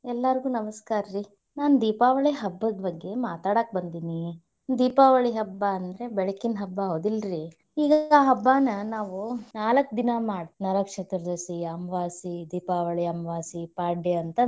ಎಲ್ಲಾರಿಗು ನಮಸ್ಕಾರ ರೀ, ನಾನ ದೀಪಾವಳಿ ಹಬ್ಬದ ಬಗ್ಗೆ ಮಾತಾಡಕ ಬಂದಿನಿ, ದೀಪಾವಳಿ ಹಬ್ಬ ಅಂದ್ರ ಬೆಳಕಿನ ಹಬ್ಬ ಹೌದಿಲ್ಲರೀ, ಇಗೆಲ್ಲಾ ಹಬ್ಬನ ನಾವು ನಾಲ್ಕ ದಿನಾ ಮಾಡ್ ನರಕ ಚತುರ್ದಶಿ, ಅಮವಾಸಿ, ದೀಪಾವಳಿ ಅಮವಾಸಿ, ಪಾಡ್ಯ ಅಂತ.